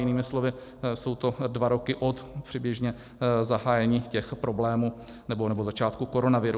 Jinými slovy, jsou to dva roky od předběžně zahájení těch problémů, nebo začátku koronaviru.